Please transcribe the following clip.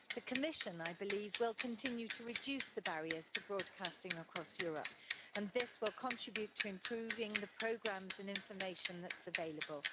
The Commission, I believe, will continue to reduce the barriers to broadcasting across Europe, and this will contribute to improving the programmes and information that are available.